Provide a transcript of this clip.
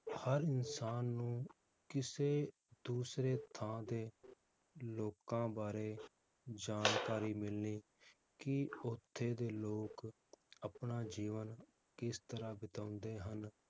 ਹਰ ਇਨਸਾਨ ਨੂੰ ਕਿਸੇ ਦੂਸਰੇ ਥਾਂ ਦੇ ਲੋਕਾਂ ਬਾਰੇ ਜਾਣਕਾਰੀ ਮਿਲਣੀ ਕਿ ਓਥੇ ਦੇ ਲੋਕ ਆਪਣਾ ਜੀਵਨ ਕਿਸ ਤਰਾਹ ਬਿਤਾਉਂਦੇ ਹਨ,